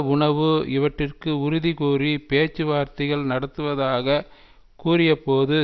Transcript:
உணவு இவற்றிற்கு உறுதி கூறி பேச்சு வார்த்தைகள் நடத்துவதாக கூறியபோது